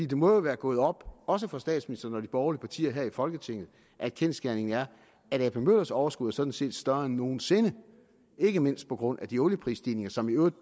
det må jo være gået op også for statsministeren og de partier her i folketinget at kendsgerningen er at ap møllers overskud sådan set er større end nogen sinde ikke mindst på grund af de olieprisstigninger som i øvrigt